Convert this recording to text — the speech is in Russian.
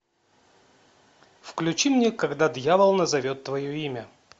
включи мне когда дьявол назовет твое имя